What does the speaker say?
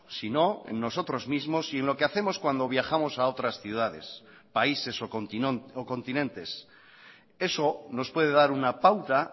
sino en nosotros mismos y en lo que hacemos cuando viajamos a otras ciudades países o continentes eso nos puede dar una pauta